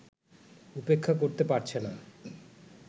উপেক্ষা করতে পারছে না